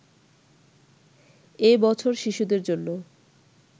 এ বছর শিশুদের জন্য